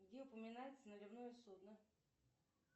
где упоминается наливное судно